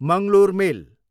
Mangalore मेल